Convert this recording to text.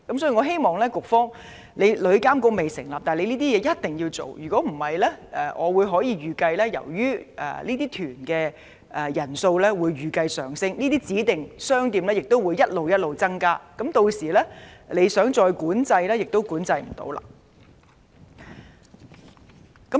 所以，在旅監局尚未成立前，我希望局方做好這些工作，否則我預計隨着旅行團的旅客人數不斷上升，指定商店的數目亦會不斷增加，屆時當局想管制亦無法做到。